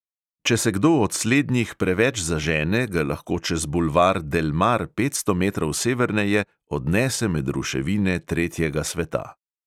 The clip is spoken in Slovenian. Če se kdo od slednjih preveč zažene, ga lahko čez bulvar delmar petsto metrov severneje odnese med ruševine tretjega sveta.